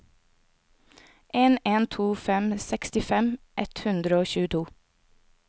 en en to fem sekstifem ett hundre og tjueto